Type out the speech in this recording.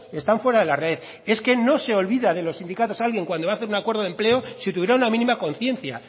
están fuera de la red es que no se olvida de los sindicatos alguien cuando va a hacer un acuerdo de empleo si tuviera una mínima conciencia